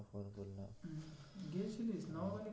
গিয়েছিলিস